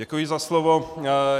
Děkuji za slovo.